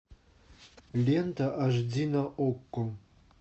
лента аш ди на окко